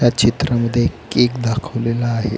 ह्या चित्रामध्ये केक दाखवलेला आहे.